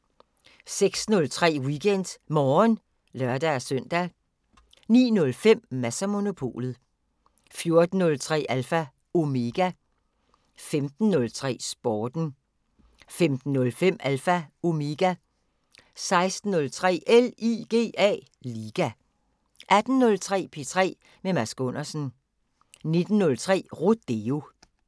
06:03: WeekendMorgen (lør-søn) 09:05: Mads & Monopolet 14:03: Alpha Omega 15:03: Sporten 15:05: Alpha Omega 16:03: LIGA 18:03: P3 med Mads Gundersen 19:03: Rodeo